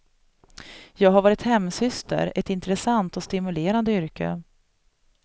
Jag har varit hemsyster, ett intressant och stimulerande yrke.